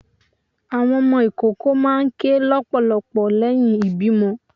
Àwọn ọmọ ìkoko máà ń kè lọpọlọpọ leyín ìbímo